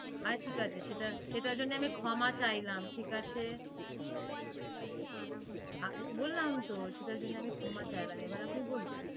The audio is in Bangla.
আচ্ছা ঠিক আছে সেটার জন্য আমি ক্ষমা চাইলাম ঠিক আছে বললাম তো সেটার জন্য আমি ক্ষমা চাইলাম এবার আপনি বলুন